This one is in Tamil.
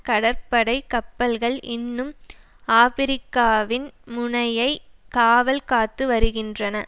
கடற்படை கப்பல்கள் இன்னும் ஆபிரிக்காவின் முனையை காவல்காத்துவருகின்றன